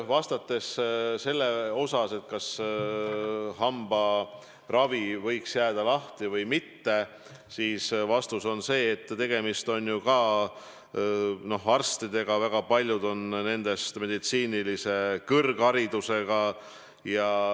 Vastates sellele, kas hambaravikabinetid võiks jääda või mitte, on vastus see, et tegemist on ju ka arstidega, väga paljud on nendest meditsiinilise kõrgharidusega.